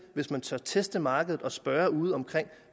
hvis man tør teste markedet og spørge ude omkring